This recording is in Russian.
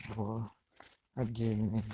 воот отдельный